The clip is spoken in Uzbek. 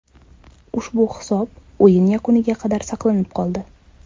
Ushbu hisob o‘yin yakuniga qadar saqlanib qoldi.